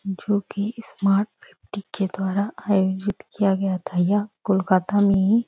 जो की smart fifty के द्वारा आयोजित किया गया था यह कोलकाता में ही।